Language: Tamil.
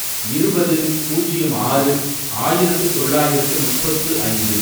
இருபது, பூஜ்யம் ஆறு, ஆயிரத்து தொள்ளாயிரத்து முப்பத்து ஐந்து